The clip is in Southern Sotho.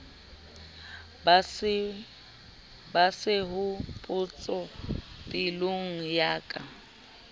ba sehopotso pelong ya ka